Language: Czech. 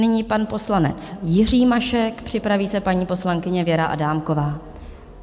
Nyní pan poslanec Jiří Mašek, připraví se paní poslankyně Věra Adámková.